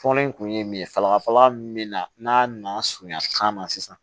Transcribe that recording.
Fɔlɔ in kun ye min ye salafala min na n'a na surunya kan na sisan